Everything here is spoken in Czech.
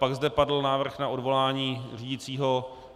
Pak zde padl návrh na odvolání řídícího.